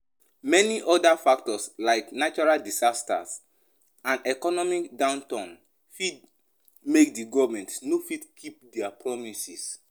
Many oda factors like natural disaster and economic downturn fit make di government no fit keep their promises